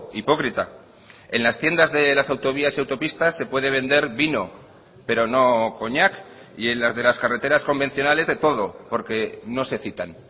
hipócrita en las tiendas de las autovías y autopistas se puede vender vino pero no coñac y en las de las carreteras convencionales de todo porque no se citan